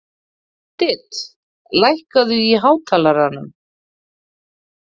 Judith, lækkaðu í hátalaranum.